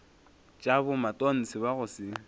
tša bomatontshe ba go se